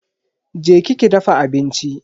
Je ki ki dafa abinci.